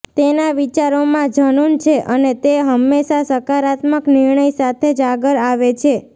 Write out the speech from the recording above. તેના વિચારોમાં જનુન છે અને તે હંમેશા સકારાત્મક નિર્ણય સાથે જ આગળ આવે છે